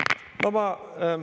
Aitäh!